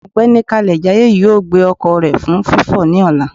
Ọgbẹni Kalejaye yóò gbe ọkọ rẹ fun fifọ ni ọla.